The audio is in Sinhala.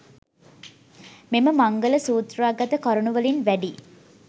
මෙම මංගල සූත්‍රාගත කරුණුවලින් වැඩි